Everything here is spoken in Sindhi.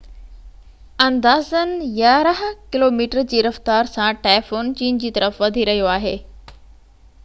اندازن يارانهن ڪلوميٽر جي رفتار سان ٽائفون چين جي طرف وڌي رهيو آهي